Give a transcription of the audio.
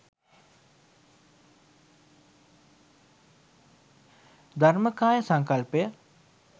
ධර්මකාය සංකල්පය